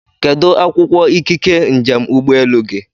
Kedụ akwụkwọ ikike njem ụgbọelu gị?